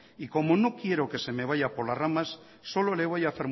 y como no quiero que se me vaya por las ramas solo le voy